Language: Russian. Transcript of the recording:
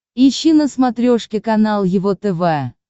ищи на смотрешке канал его тв